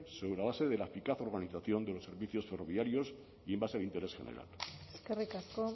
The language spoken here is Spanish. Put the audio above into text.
sobre la base de la eficaz organización de los servicios ferroviarios y en base al interés general eskerrik asko